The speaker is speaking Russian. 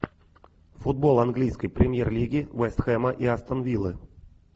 футбол английской премьер лиги вест хэма и астон виллы